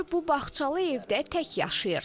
Onlar bu bağçalı evdə tək yaşayır.